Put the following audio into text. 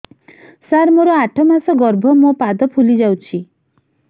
ସାର ମୋର ଆଠ ମାସ ଗର୍ଭ ମୋ ପାଦ ଫୁଲିଯାଉଛି